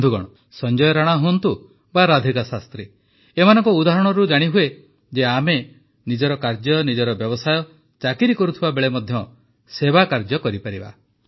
ବନ୍ଧୁଗଣ ସଂଜୟ ରାଣା ହୁଅନ୍ତୁ ବା ରାଧିକା ଶାସ୍ତ୍ରୀ ଏମାନଙ୍କ ଉଦାହରଣରୁ ଜାଣିହୁଏ ଯେ ଆମେ ନିଜର କାର୍ଯ୍ୟ ନିଜର ବ୍ୟବସାୟ ଚାକିରି କରୁଥିବାବେଳେ ମଧ୍ୟ ସେବା କାର୍ଯ୍ୟ କରିପାରିବା